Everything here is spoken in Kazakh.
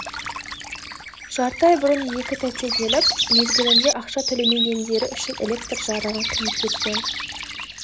жарты ай бұрын екі тәте келіп мезгілінде ақша төлемегендері үшін электр жарығын қиып кеткен